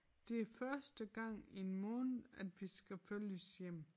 Det første gang i en måned at vi skal følges hjem